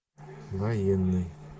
военный